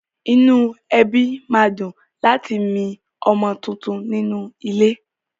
Inú ẹbí ma dùn láti mi ọmọ tuntun nínú ilé.